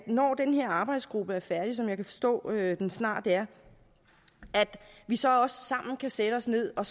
når den her arbejdsgruppe er færdig som jeg kan forstå at den snart er at vi så også sammen kan sætte os ned og